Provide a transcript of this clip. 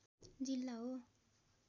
जिल्ला हो